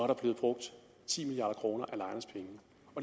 der blevet brugt ti milliard kroner